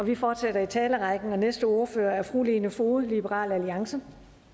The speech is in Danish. vi fortsætter i talerrækken og den næste ordfører er fru lene foged liberal alliance